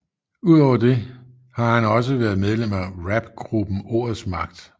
Udover det har han også været medlem af rapgruppen Ordets Magt